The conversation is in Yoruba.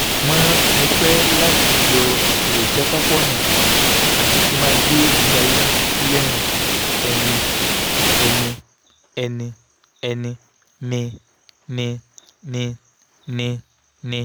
mo fẹ́ láti yọ èròjàkápọnà àti kí n máa gbé ìgbésí ayé ní ojúlérùn-ẹni-ẹni-ẹni-ẹni-ẹni-ẹni-ẹni-ẹni-nì-nì-nì-nì-nì-nì-nì-nì-nì-nì-nì